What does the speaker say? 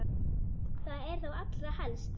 Það er þá allra helst!